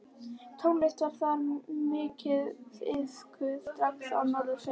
Tónlist var þar mikið iðkuð strax á Norðfirði.